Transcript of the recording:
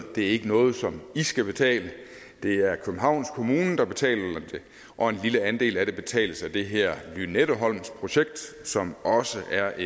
det ikke er noget som de skal betale det er københavns kommune der betaler det og en lille andel af det betales af det her lynetteholmsprojekt som også er